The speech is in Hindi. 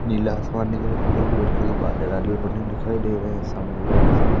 नीला आसमान व्हाइट कलर के बादल वादल दिखाई दे रहे हैं सामने बाकी सारे--